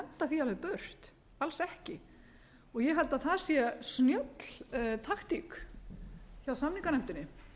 því alveg burt alls ekki og ég held að það sé snjöll taktík hjá samninganefndinni